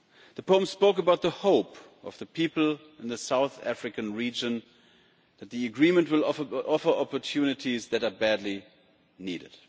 The poem spoke about the hope of the people in the South African region that the Agreement will offer opportunities that are badly needed.